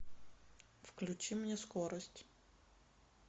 включи мне скорость